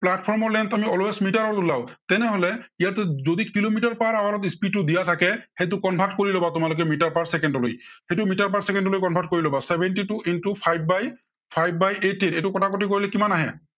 platform ৰ length আমি always মিটাৰত উলাও। তেনেহলে ইয়াতে যদি কিলোমিটাৰ per hour ত speed টো দিয়া থাকে, সেইটো convert কৰি লবা তোমালোকে মিটাৰ per চেকেণ্ড লৈ। সেইটো মিটাৰ per চেকেণ্ড লৈ convert কৰি লবা। seventy two into five by eighteen এইটো কটাকটি কৰিলে কিমান আহে?